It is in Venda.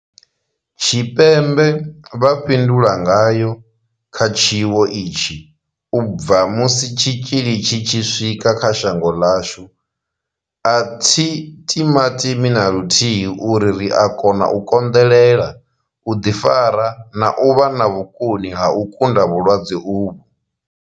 Tshipembe vha fhindula ngayo kha tshiwo itshi u bva musi tshitzhili tshi tshi swika kha shango ḽashu, a thi timatimi na luthihi uri ri a kona u konḓelela, u ḓifara na u vha na vhukoni ha u kunda vhulwadze uvhu.